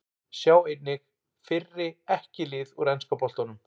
Sjá einnig: Fyrri EKKI lið úr enska boltanum